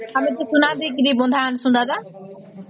ଆମେ ତ ସୁନା ବିକିରି ବନ୍ଧା ଆଣିଛୁ ଦାଦା